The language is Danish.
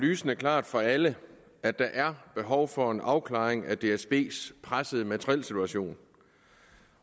lysende klart for alle at der er behov for en afklaring af dsbs pressede materielsituation